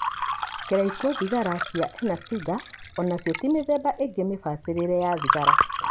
Kĩraikũ, thigara cia e na cigar onacio ti mĩthemba ĩngĩ mĩbacĩrĩre ya thigara